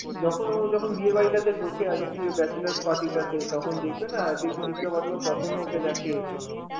যখন ও যখন বিয়ে বাড়িতাতে ঢোকে, অদিতির bachelor's party তাতে তখন দেখবে না, দেখবি দীপিকা পাডুকোন কখনো ওকে দেখে.